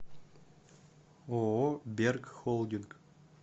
ооо берг холдинг